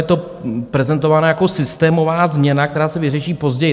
Je to prezentována jako systémová změna, která se vyřeší později.